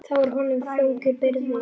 Það var honum þung byrði.